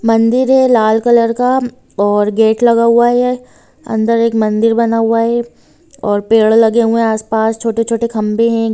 मंदिर है लाल कलर का और गेट लगा हुआ है उधर एक मंदिर बना हुआ है और पेड़ लगे हुए हैं आस-पास छोटे-छोटे खम्बे हैं।